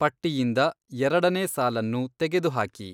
ಪಟ್ಟಿಯಿಂದ ಎರಡನೇ ಸಾಲನ್ನು ತೆಗೆದುಹಾಕಿ